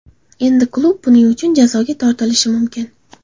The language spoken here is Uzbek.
Endi klub buning uchun jazoga tortilishi mumkin.